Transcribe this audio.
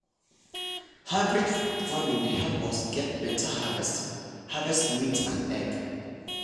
hybrid farming dey help us get better harvest harvest meat and egg.